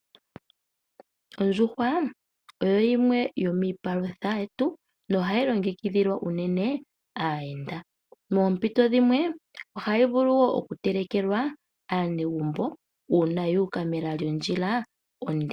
Oondjuhwa oyo yimwe yomiipalutha yetu nohayi longekidhilwa unene aayenda. Moompito dhimwe ohayi vulu wo oku telekelwa aanegumbo una yu uka mela lyondjila onde.